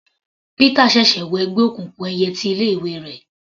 Pítà ṣẹ̀ṣẹ̀ wọ ẹgbẹ́ òkùnkùn ẹyẹ ti ilé ìwé rẹ̀.